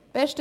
Besten